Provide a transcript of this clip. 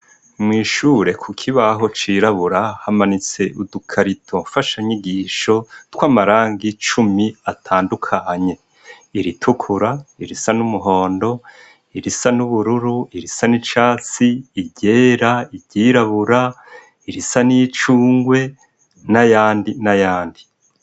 Mwishure kukibaho cirabura hamanitse udu carito mfasha nyigisho twamarangi cumi atandukanye iritukura irisa numuhondo irisa nubururu irisa nicatsi iryera iryirabura irisa nicungwe nayandi nayandi